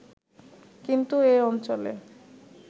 কিন্তু এ অঞ্চলে